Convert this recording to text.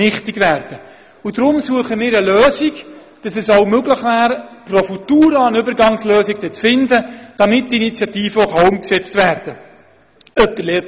Deshalb würden wir einen Weg suchen, pro Futura eine Übergangslösung zu schaffen, damit die Initiative dann umgesetzt werden könnte.